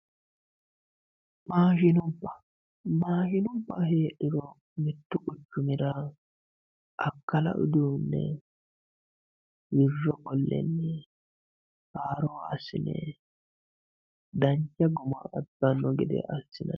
maashinubba maashinubba heedhuro mittu quchumira akkala uduunne wirro qolle haaro assine dancha guma abbanno gede assinanni.